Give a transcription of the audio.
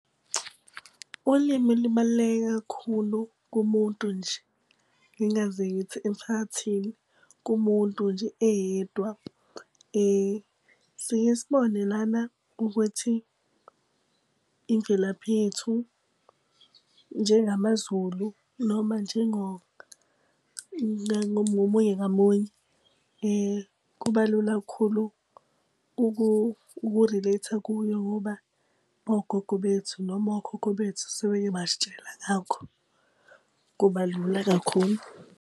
Ulimi libaluleke kakhulu kumuntu nje, ngingaze ngithi emphakathini. Kumuntu nje eyedwa. Sike sibone lana ukuthi imvelaphi yethu njengamaZulu ngomunye ngamunye. Kuba lula kakhulu uku-relate-a kuyo ngoba ogogo bethu noma okhokho bethu sebeke basitshela ngakho, kuba lula kakhulu.